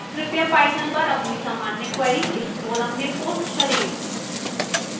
कृपया पाइथन पर अपनी सामान्य क्वेरी इस फोरम में पोस्ट करें